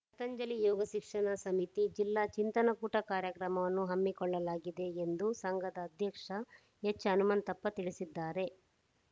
ಪತಂಜಲಿ ಯೋಗ ಶಿಕ್ಷಣ ಸಮಿತಿ ಜಿಲ್ಲಾ ಚಿಂತನ ಕೂಟ ಕಾರ್ಯಕ್ರಮವನ್ನು ಹಮ್ಮಿಕೊಳ್ಳಲಾಗಿದೆ ಎಂದು ಸಂಘದ ಅಧ್ಯಕ್ಷ ಎಚ್‌ಹನುಮಂತಪ್ಪ ತಿಳಿಸಿದ್ದಾರೆ